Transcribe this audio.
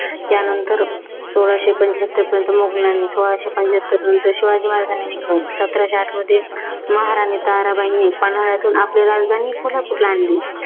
त्यानंतर सोळाशे पंचहत्तरपर्यंत मुघलांनी, सोळाशे पंचहत्तरनंतर शिवाजी महाराजांनी सत्राशे आठमध्ये महाराणी ताराबाईंनी पन्हाळ्यातून आपली राजधानी कोल्यापूरला आणली.